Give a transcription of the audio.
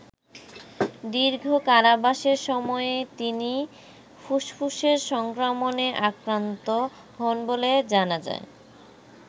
দীর্ঘ কারাবাসের সময়েই তিনি ফুসফুসের সংক্রমণে আক্রান্ত হন বলে জানা যায়।